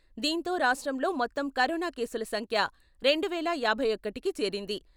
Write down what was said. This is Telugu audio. దీంతో రాష్ట్రంలో మొత్తం కరోనా కేసుల సంఖ్య రెండు వేల యాభై ఒకటికి చేరింది.